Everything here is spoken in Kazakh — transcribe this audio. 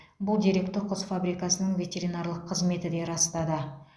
бұл деректі құс фабрикасының ветеринарлық қызметі де растады